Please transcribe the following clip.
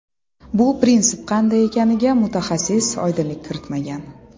Bu prinsip qanday ekaniga mutaxassis oydinlik kiritmagan.